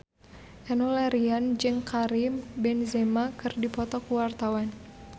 Enno Lerian jeung Karim Benzema keur dipoto ku wartawan